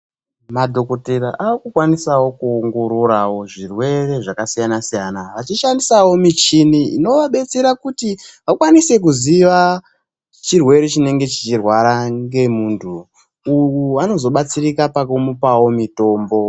Madhokotera akukwanisavo kuongorora zvirwere zvakasiyana-siyana, achi shandisa vo michini ino vabetsera kuti vakwanise kuziya chirwere chinenge chichirwara ngemuntu, uku vano zobatsirika paku vapavo mitombo.